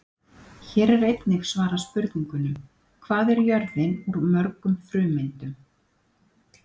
Hér er einnig svarað spurningunum: Hvað er jörðin úr mörgum frumeindum?